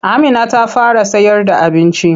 Amina ta fara sayarda abinci.